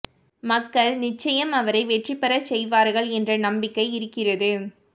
மக்கள் நிச்சயம் அவரை வெற்றிபெற செய்வார்கள் என்ற நம்பிக்கை இருக்கிறது